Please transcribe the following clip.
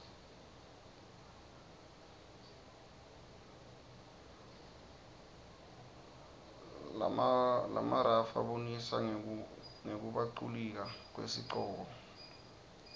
lamaruyf abonisa ngekubaculifka kuesikoco